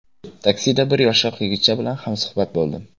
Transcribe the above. Taksida bir yoshroq yigitcha bilan hamsuhbat bo‘ldim.